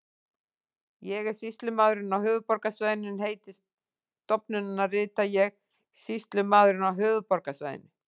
Ég er sýslumaðurinn á höfuðborgarsvæðinu en heiti stofnunarinnar rita ég Sýslumaðurinn á höfuðborgarsvæðinu.